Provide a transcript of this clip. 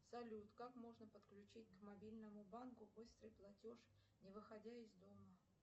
салют как можно подключить к мобильному банку быстрый платеж не выходя из дома